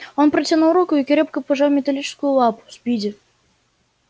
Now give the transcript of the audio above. он протянул руку и крепко пожал металлическую лапу спиди